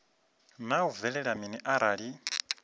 naa hu bvelela mini arali